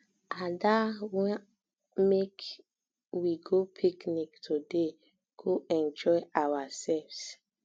ada wan um make we go picnic today go enjoy ourselves